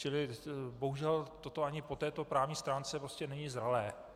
Čili bohužel, toto ani po této právní stránce prostě není zralé.